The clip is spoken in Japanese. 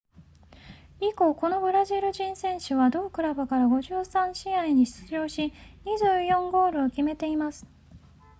以降このブラジル人選手は同クラブから53試合に出場し24ゴールを決めています